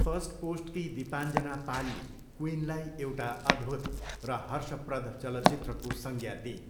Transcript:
फर्स्टपोस्टकी दिपान्जना पालले क्विइनलाई एउटा अद्भुत र हर्षप्रद चलचित्रको संज्ञा दिइन्।